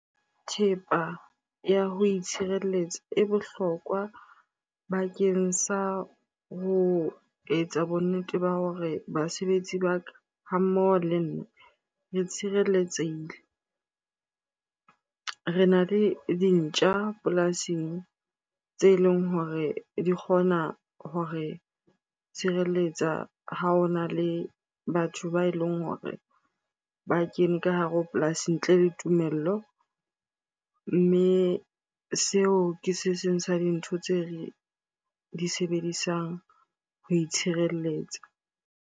Thepa ya ho itshireletsa e bohlokwa bakeng sa ho etsa bonnete ba hore basebetsi ba ka, ha mmoho le nna re tshireletsehile. Rena le dintja polasing tse leng hore di kgona hore tshireletsa ha o na le batho ba eleng hore ba kene ka hare ho polasi ntle le tumello. Mme seo ke se seng sa dintho tse re di sebedisang ho itshireletsa.